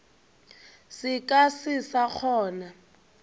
se ka se sa kgona